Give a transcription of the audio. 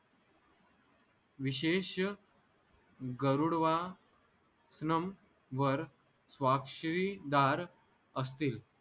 विशेष गरुडवनं वर स्वाक्षरी दार असतील